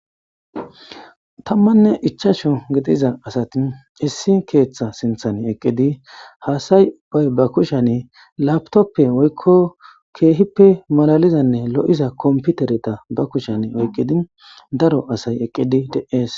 tammanne ichasho gediza asatin issi keeththa sinthan eqqidi haasay ubbay ba kushene laptoppe woykko keehippe malalizanne lo7iza komputereta ba kushene oyqqidi daro asay eqqidi dees